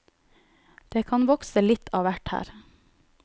Det kan vokse litt av hvert her.